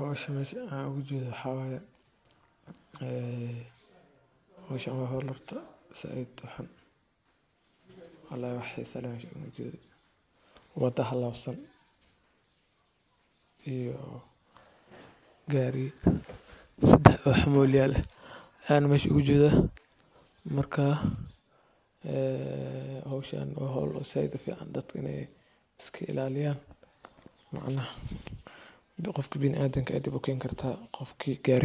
Howsha aan mesha oga jedhoo waxa waye horto waa howl zaid xisa u lehmeesha uga jeedo waa shaqo muhiim ah oo leh miisaan, qiimo iyo ujeeddo fog. Horta, waa howl aad u weyn, taasoo leh xisaab iyo masuuliyad culus. Waa shaqo aan la fududeysan karin, loona baahan yahay in si taxaddar, daacadnimo, iyo dulqaad leh loo qabto. Waxa ay noqon kartaa mid nolosha dadka saameyn ku leh, bulshada wax u qabata, ama lagu dhisayo mustaqbal ifaya. Marka la yiraahdo “waa howl zaid xisa u leh,” micnaheedu waa in aan lagu qaadan sahal, balse looga baahanyahay aqoon, aragti dheer, iyo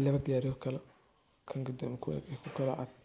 niyad wax qabad leh. ,